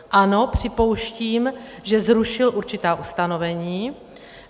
Ano, připouštím, že zrušil určitá ustanovení.